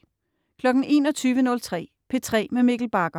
21.03 P3 med Mikkel Bagger